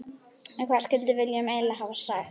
En hvað skildi Willum eiginlega hafa sagt?